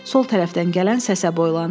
Sol tərəfdən gələn səsə boylandı.